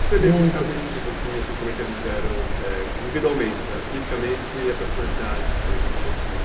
Descrever fisicamente um pouquinho, assim, como é que eles eram, é, individualmente, fisicamente e a personalidade deles um pouquinho.